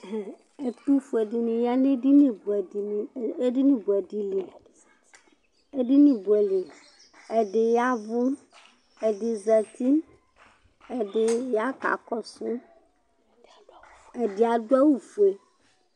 Ɛtʋfʋe dìní ya nʋ edini bʋɛ di li Ɛdí yavʋ Ɛdí zɛti Ɛdí ya kakɔsu Ɛdí adu awu fʋe